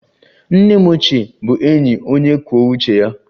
Nne m ochie bụ enyi onye kwuo uche ya